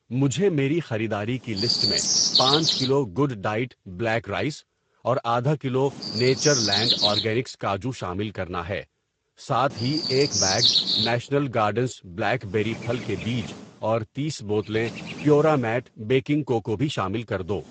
مجھے میری خریداری کی لسٹ میں پانچ kilo good diet black rice اور آدھا کلو نیچرلینڈ آرگینکس کاجو شامل کرنا ہے۔ ساتھ ہی، ایک bag National Gardens blackberry پھل کے بیج اور تیس بوتلیں پیورامیٹ بیکنگ کوکو بھی شامل کر دو۔